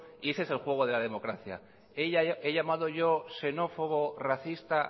y ese es el juego de la democracia he llamado yo xenófobo racista